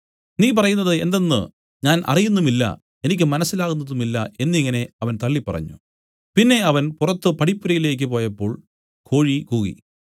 നീ പറയുന്നത് എന്തെന്ന് ഞാൻ അറിയുന്നുമില്ല എനിക്ക് മനസ്സിലാകുന്നതുമില്ല എന്നിങ്ങനെ അവൻ തള്ളിപ്പറഞ്ഞു പിന്നെ അവൻ പുറത്തു പടിപ്പുരയിലേക്ക് പോയപ്പോൾ കോഴി കൂകി